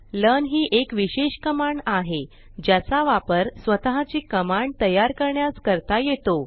learn ही एक विशेष कमांड आहे ज्याचा वापर स्वतः ची कमांड तयार करण्यास करता येतो